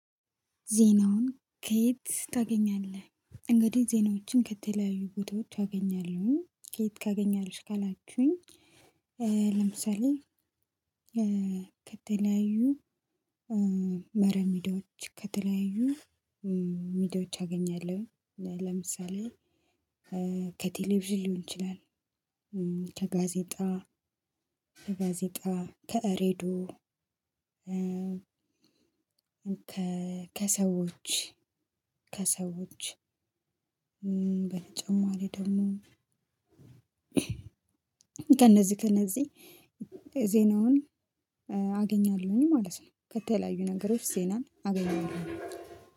ዜናውን ከየት ታገኛለህ? እንግዲህ ዜናዎችን ከተለያዩ ቦታዎች አገኛለሁኝ ከየት ታገኛለሽ ካላችሁኝ? ለምሳሌ ከተለያዩ መረሚዲያች ከተለያዩ ሚዲያዎች አገኛለሁ። ለምሳሌ ከቴሌቪዥን ሊሆን ይችላል። ከጋዜጣ ከጋዜጣ ከራዲዮ። ከሰዎች ከሰዎች በተጨማሪ ደግሞ። ከእነዚህ ከእነዚህ ዜናውን አገኛለሁኝ ማለት ነው። ከተለያዩ ነገሮች ዜናን አገኛለሁኝ።